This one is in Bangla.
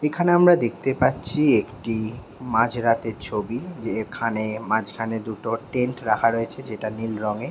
এইখানে আমরা দেখতে পাচ্ছি একটি মাঝ রাতের ছবি যে এখানে মাঝখানে দুটো টেন্ট রাখা রয়েছে যেটা নীল রঙে।